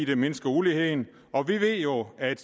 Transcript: vil mindske uligheden og vi ved jo at